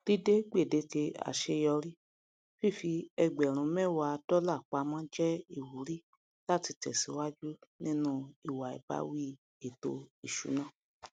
dídé gbedeke àṣeyọrí fífi ẹgbẹrun méwàá dọlà pamó jé ìwúrí láti tèsíwájú nínú ìwà ìbáwí ètò ìṣúná